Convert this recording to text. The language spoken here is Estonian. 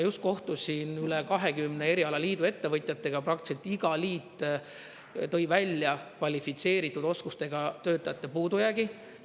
Just kohtusin üle 20 erialaliidu ettevõtjatega, praktiliselt iga liit tõi välja kvalifitseeritud oskustega töötajate puudujäägi.